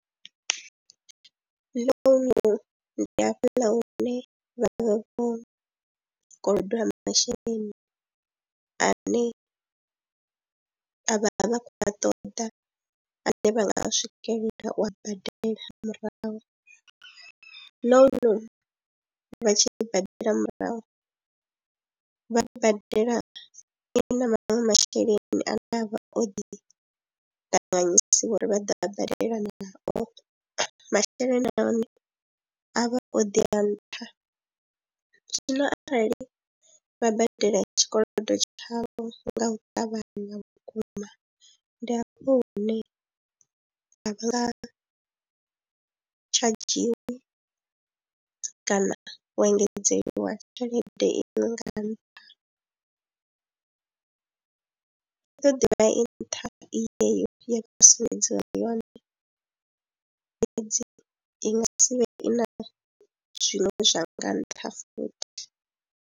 Ḽounu ndi hafhaḽa hune vha vha vho koloda masheleni ane a vha vha khou a ṱoḓa ane vha nga swikelela u badela murahu na hone ri vha tshi i badela murahu vha i badela i na maṅwe masheleni ane a vha o ḓi ṱanganyisiwa uri vha ḓo a badela nao, masheleni a hone a vha o ḓi ya nṱha. Zwino arali vha badela tshikolodo tshavho nga u ṱavhanya vhukuma ndi afho hune a vha nga tshadzhiwi kana u engedzeliwa tshelede iṅwe nga nṱha, i ḓo ḓivha i nṱha i yeyo ya fhasi sumbedziwa yone fhedzi i nga si vhe i na zwine zwa nga ntha futhi.